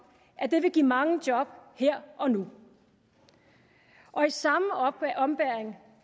at det vil give mange nye job her og nu og i samme ombæring